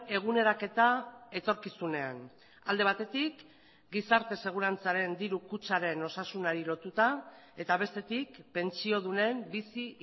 eguneraketa etorkizunean alde batetik gizarte segurantzaren diru kutxaren osasunari lotuta eta bestetik pentsiodunen bizi